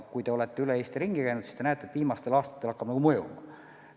Kui te olete Eestis ringi käinud, siis te näete, et viimastel aastatel on see hakanud mõjuma.